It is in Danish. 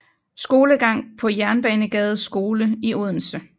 Skolegang på Jernbanegades Skole i Odense